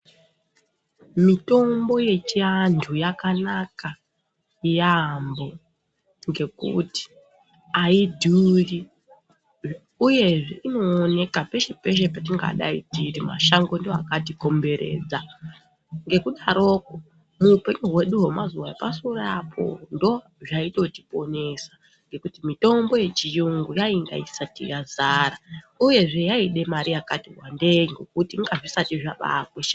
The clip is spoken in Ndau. Mitombo yechi antu yakanaka yambo ngekuti ayi dhuri uyezve ino oneka peshe peshe petinga dai teiti mashango ndiwo akati komberedza ngeku daroko mu hupenyu hwedu hwe mazuva epa sure apo ndo zvaitoti ponesa ngekuti mitombo ye chiyungu yainga isati yazara uyezve yaide mari yakati wandei ngekuti inga zvisati zvabai kosha.